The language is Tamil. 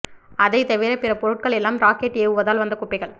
அதைத் தவிரப் பிற பொருட்கள் எல்லாம் ராக்கெட் ஏவுதலால் வந்த குப்பைகள்